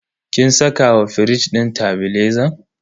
kin saka wa firij din tebilezan?